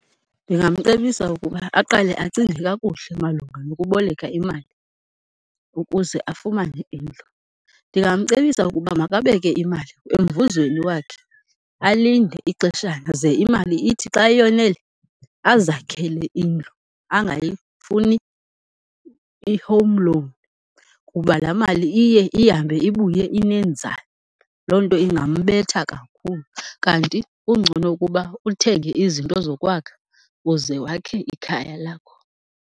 Ndingamcebisa ukuba aqale acinge kakuhle malunga nokuboleka imali ukuze afumane indlu. Ndingamcebisa ukuba makabeke imali emvuzweni wakhe alinde ixeshana. Ze imali ithi xa yonele azakhele indlu angayifuni i-home loan kuba laa mali iye ihambe ibuye inenzala, loo nto ingambetha kakhulu. Kanti kungcono ukuba uthenge izinto zokwakha uze wakhe ikhaya lakho.